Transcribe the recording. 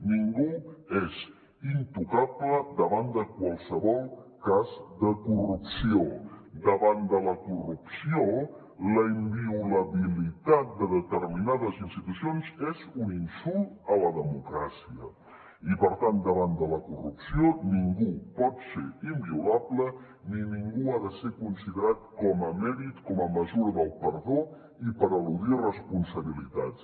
ningú és intocable davant de qualsevol cas de corrupció davant de la corrupció la inviolabilitat de determinades institucions és un insult a la democràcia i per tant davant de la corrupció ningú pot ser inviolable ni ningú ha de ser considerat com a emèrit com a mesura del perdó i per eludir responsabilitats